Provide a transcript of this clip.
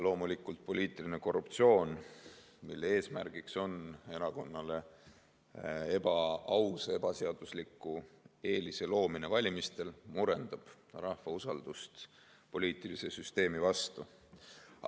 Loomulikult, poliitiline korruptsioon, mille eesmärk on erakonnale ebaausa ja ebaseadusliku eelise loomine valimistel, murendab rahva usaldust poliitilise süsteemi vastu.